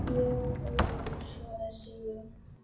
Já, Ólafur svaraði Sigrún.